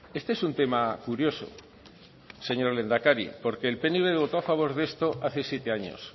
este es un tema curioso señor lehendakari porque el pnv votó a favor de esto hace siete años